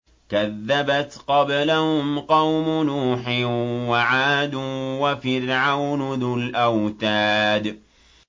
كَذَّبَتْ قَبْلَهُمْ قَوْمُ نُوحٍ وَعَادٌ وَفِرْعَوْنُ ذُو الْأَوْتَادِ